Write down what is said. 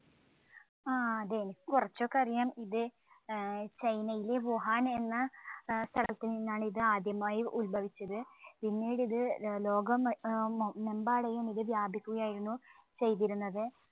ആ അതെ എനിക്ക് കുറച്ചൊക്കെ അറിയാം ഇത് ചൈനയിലെ വുഹാൻ എന്ന ഏർ സ്ഥലത്തുനിന്നാണ് ഇത് ആദ്യമായി ഉത്ഭവിച്ചത്. പീന്നീട് ഇത് ല് ലോകം മ് മെമ്പാടെയും ഇത് വ്യാപിക്കുകയായിരുന്നു ചെയ്തിരുന്നത്.